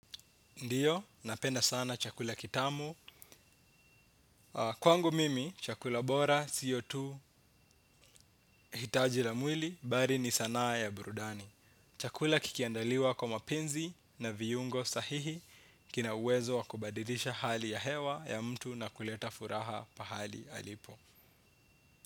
Ndiyo, napenda sana chakula kitamu. Kwangu mimi, chakula bora sio tu hitaji la mwili bali ni sanaa ya burudani. Chakula kikiandaliwa kwa mapenzi na viungo sahihi kina uwezo wa kubadilisha hali ya hewa ya mtu na kuleta furaha pahali alipo.